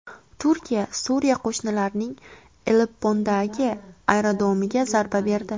Turkiya Suriya qo‘shinlarining Aleppodagi aerodromiga zarba berdi.